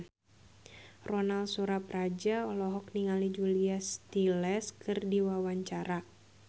Ronal Surapradja olohok ningali Julia Stiles keur diwawancara